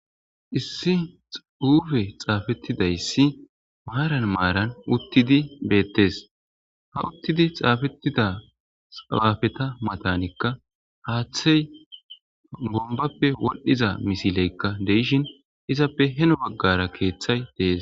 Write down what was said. Issi xuufe xaafetidayssi maaran maaran uttidi beettes ha uttidi xaafetida xabafeta matanikka haaththey bombappe woldhiza misileykka deishin izappe heno baggara keeththay dees.